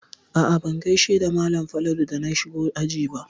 A'a ban gaishe da malam Falalu da na shigo aji ba.